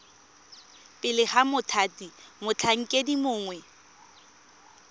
pele ga mothati motlhankedi mongwe